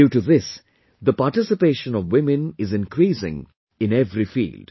Due to this, the participation of women is increasing in every field